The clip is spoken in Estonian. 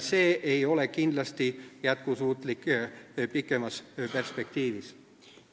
See ei ole kindlasti jätkusuutlik pikemas perspektiivis.